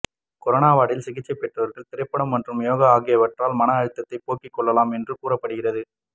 corona வார்டில் சிகிச்சை பெறுபவர்கள் திரைப்படம் மற்றும் யோகா ஆகியவற்றால் மன அழுத்தத்தைப் போக்கி கொள்ளலாம் என்று கூறப்படுகிறது